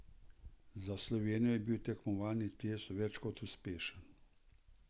Za Slovenijo je bil tekmovalni test več kot uspešen.